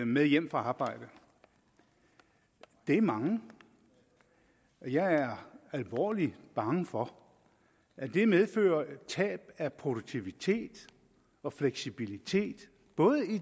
med hjem fra arbejde det er mange og jeg er alvorlig bange for at det medfører tab af produktivitet og fleksibilitet i både